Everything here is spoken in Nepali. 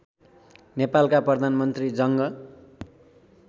नेपालका प्रधानमन्त्री जङ्ग